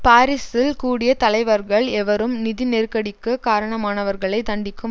பாரிசில் கூடிய தலைவர்கள் எவரும் நிதி நெருக்கடிக்கு காரணமானவர்களை தண்டிக்கும்